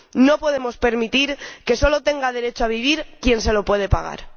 No podemos permitir que solo tenga derecho a vivir quien se lo puede pagar.